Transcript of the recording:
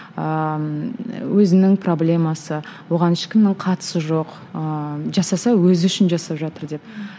ыыы өзінің проблемасы оған ешкімнің қатысы жоқ ыыы жасаса өзі үшін жасап жатыр деп